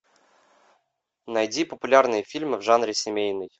найди популярные фильмы в жанре семейный